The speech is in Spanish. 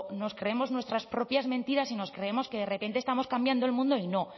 nos creemos nuestras propias mentiras y nos creemos que de repente estamos cambiando el mundo y no